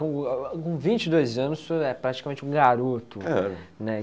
Com com vinte e dois anos, o senhor é praticamente um garoto, né?